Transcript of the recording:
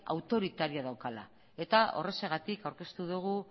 autoritarioa daukala eta horrexegatik aurkeztu dugu